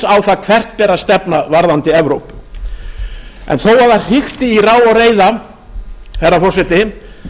það hvert beri að stefna varðandi evrópu en þó að það hrikti í rá og reiða herra forseti